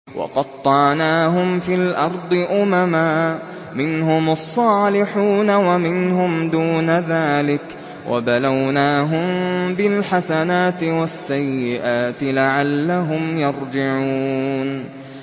وَقَطَّعْنَاهُمْ فِي الْأَرْضِ أُمَمًا ۖ مِّنْهُمُ الصَّالِحُونَ وَمِنْهُمْ دُونَ ذَٰلِكَ ۖ وَبَلَوْنَاهُم بِالْحَسَنَاتِ وَالسَّيِّئَاتِ لَعَلَّهُمْ يَرْجِعُونَ